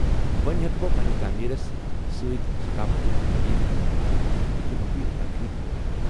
وۄنۍ ہٮ۪کہٕ بہٕ فن تعمیرس تہٕ سۭتۍ تمہِ ثقافتچ تعریف کٔرتھ ییٚمہِ بہِ تخلیق کوٚر۔